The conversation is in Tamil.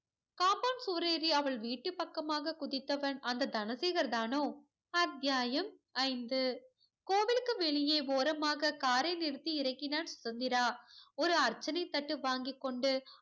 compound சுவர் ஏறி அவள் வீட்டு பக்கமாக குதித்தவன் அந்த தனசேகர் தானோ அத்தியாயம் ஐந்து. கோவிலுக்கு வெளியே ஓரமாக car ரை நிறுத்தி இறங்கினான் சுதந்திரா. ஒரு அர்ச்சனை தட்டு வாங்கிக் கொண்டு